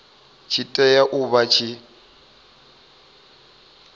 tshi tea u vha tshi